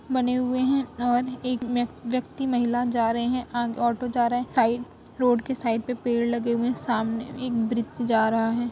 बने हुए हैं और एक व्यक्ति महिला जा रहे हैं और अ ऑटो जा रहा है। साइड रोड के साइड पे पेड़ लगे हुए हैं। सामने एक ब्रिज जा रहा है।